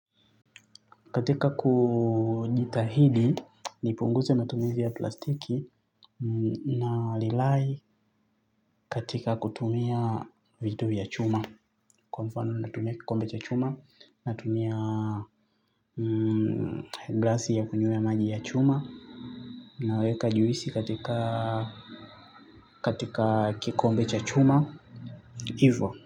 Katika kujitahidi, nipunguze matumizi ya plastiki na lilai katika kutumia vitu vya chuma. Kwa mfano natumia kikombe cha chuma, natumia glasi ya kunywea maji ya chuma. Naweka juisi katika kikombe cha chuma, hivo.